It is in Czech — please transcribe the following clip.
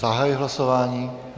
Zahajuji hlasování.